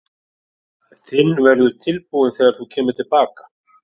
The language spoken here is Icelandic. Þinn verður tilbúinn þegar þú kemur til baka.